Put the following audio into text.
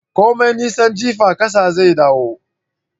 Komai nisan jifa kasa zai dawo